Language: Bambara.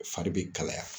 Fari bɛ kalaya